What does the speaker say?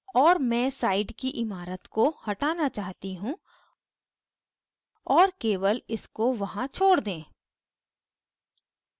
और मैं side की ईमारत को हटाना चाहती हूँ और केवल इसको वहाँ छोड़ दें